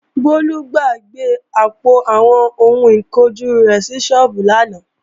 Bólú gbàgbé àpò àwọn ohun ìkunjú rẹ̀ sí sọ́ọ́bù lánàá